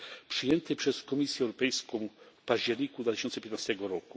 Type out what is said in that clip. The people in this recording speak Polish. przyjętej przez Komisję Europejską w październiku 2015